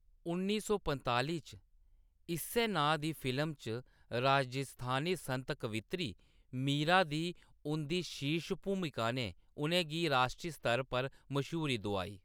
उन्नी सौ पंजताली च इस्सै नांऽ दी फिल्म च राजस्थानी संत कवित्री मीरा दी उंʼदी शीर्ष भूमिका ने उʼनें गी राश्ट्री स्तर पर मश्हूरी दोआई।